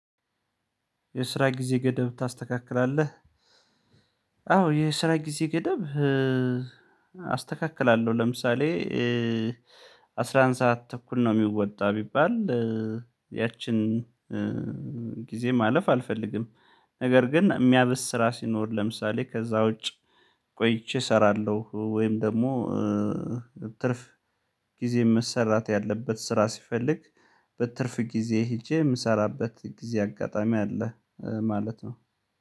የስራ ጊዜ ገደብ ታስተካክላለህ? አዎ የስራ ጊዜ ገደብ አስተካክላለሁ። ለምሳሌ አስራ አንድ ሰዓት ተኩል ነው የሚወጣ ቢባል ያችን ጊዜ ማለፍ አልፈልግም። ነገር ግን የሚያብስ ስራ ሲኖር ለምሳሌ ከዛ ውጭ ቆይቼ እሰራለሁ። ወይም ደግሞ ትርፍ ጊዜ መሰራት ያለበት ስራ ሲፈልግ በትርፍ ጊዜ ሄጄ የምሰራበት ጊዜ አጋጣሚ አለ። ማለት ነው